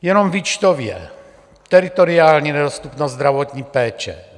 Jenom výčtově: Teritoriální nedostupnost zdravotní péče.